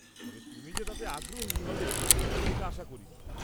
তবে তুমি যে তাতে আগ্রহী হবে তেমনটা আশা করিনি।